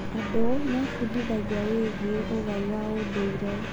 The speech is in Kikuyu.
Andũ mebundithagia wĩgie ũgai wa ũndũire.